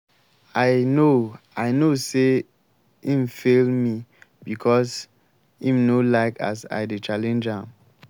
i know i know sey im fail me because im no like as i dey challenge am.